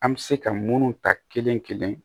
An bɛ se ka munnu ta kelen kelen